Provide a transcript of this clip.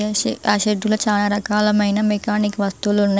నాకుతెలిసి ఆ షెడ్డులో చాలా రకాలమైన మెకానిక్ వస్తువులు ఉన్నాయ్.